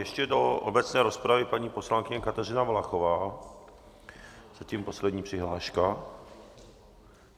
Ještě do obecné rozpravy paní poslankyně Kateřina Valachová, zatím poslední přihláška.